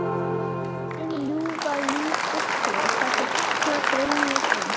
Hið ljúfa líf fullkomið: Það sem alla dreymir um.